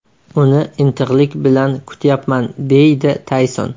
Uni intiqlik bilan kutyapman”, deydi Tayson.